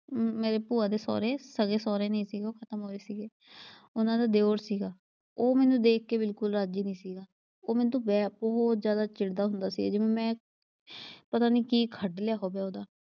ਮੇਰੇ ਭੂਆ ਦੇ ਸਹੁਰੇ, ਸਗੇ ਸਹੁਰੇ ਨਈਂ ਸੀ, ਉਹ ਖ਼ਤਮ ਹੋ ਗਏ ਸੀਗੇ। ਉਨ੍ਹਾਂ ਦਾ ਦਿਓਰ ਸੀਗਾ। ਉਹ ਮੈਨੂੰ ਦੇਖ ਕੇ ਬਿਲਕੁੱਲ ਰਾਜ਼ੀ ਨੀ ਸੀਗਾ। ਉਹ ਮੇਰੇ ਤੋਂ ਬਹੁਤ ਜਿਆਦਾ ਚਿੜਦਾ ਹੁੰਦਾ ਸੀ ਜਿਵੇਂ, ਮੈਂ ਪਤਾ ਨਈਂ ਕੀ ਕੱਢ ਲਿਆ ਹੋਵੇ।